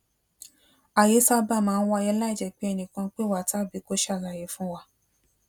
ayé sábà máa ń wáyé láìjé pé ẹnì kan pè wá tàbí kó ṣàlàyé fún wa